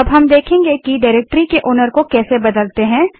अब हम देखेंगे कि डाइरेक्टरी के मालिकओनर को कैसे बदलते हैं